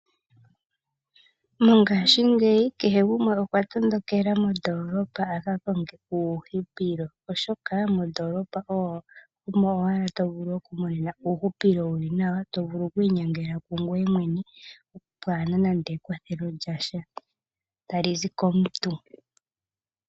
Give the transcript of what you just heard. Mongashiingeyi kehe gumwe okwa tondokela mondoolopa aka konge uuhupilo, oshoka mondoolopa omo to vulu okumona uuhupilo wuli nawa to vulu okwi inyangela ngwee mwene pwaana nando ekwathelo lyasha talizi komuntu.